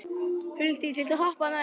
Huldís, viltu hoppa með mér?